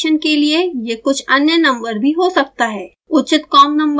usb connection के लिए यह कुछ अन्य नंबर भी हो सकता है